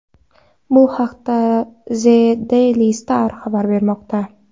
Bu haqda The Daily Star xabar bermoqda .